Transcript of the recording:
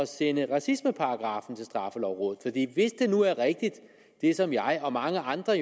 sende racismeparagraffen til straffelovrådet hvis det nu er rigtigt som jeg og mange andre